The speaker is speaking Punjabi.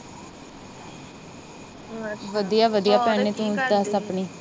ਬਸ ਵਧੀਆ ਵਧੀਆ ਭੈਣੇ